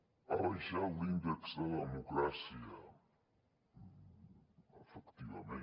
ha baixat l’índex de democràcia efectivament